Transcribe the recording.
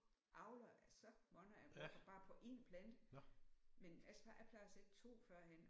Avler så mange af dem bare på én plante men altså jeg plejede at sætte 2 førhen